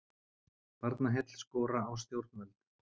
Barnaheill skora á stjórnvöld